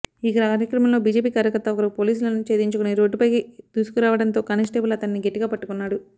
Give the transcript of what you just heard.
ఈ క్రమంలో బీజేపీ కార్యకర్త ఒకరు పోలీసులను ఛేదించుకుని రోడ్డుపైకి దూసుకురావడంతో కానిస్టేబుల్ అతనిని గట్టిగా పట్టుకున్నాడు